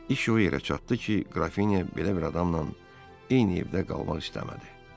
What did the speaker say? İş o yerə çatdı ki, Qrafiniya belə bir adamla eyni evdə qalmaq istəmədi.